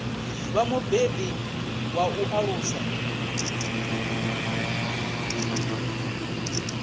vha mubebi wa u alusa